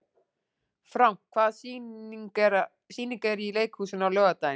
Frank, hvaða sýningar eru í leikhúsinu á laugardaginn?